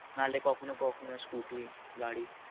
নালে কখুনো কখুনো scooter গাড়ি